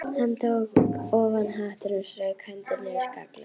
Hann tók ofan hattinn og strauk hendinni yfir skallann.